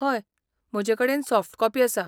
हय, म्हजे कडेन सॉफ्ट कॉपी आसा.